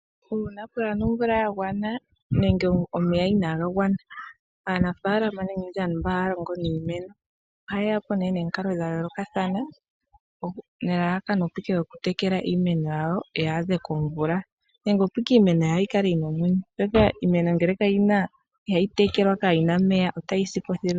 Uuna kaapuna omvula ya gwana nenge omeya inaga gwana, aanafaalama nenge aantu mba ha ya longo niimeno oha ye ya po nomikalo dha yoolokathana nelalakano oku tekela iimeno yawo yi adhe komvula, opo iimeno yawo yi kale yi na omeya. Iimeno ngele ihayi tekelwa, kayina omeya, ohayi sipo thilu.